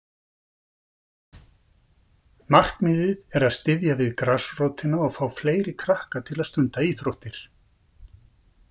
Markmiðið er að styðja við grasrótina og fá fleiri krakka til að stunda íþróttir.